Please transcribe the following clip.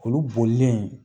Olu bolilen